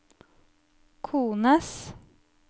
kones